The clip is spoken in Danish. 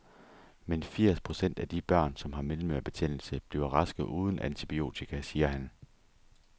Men firs procent af de børn, som har mellemørebetændelse, bliver raske uden antibiotika, siger han.